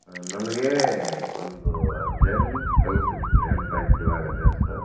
ಹಾ ನನಗೆ ಒಂದು urgent ಕೆಲಸ ಇತ್ರಿ ನೆನಪ್ ಆಯ್ತ್ ಇವಾಗ just .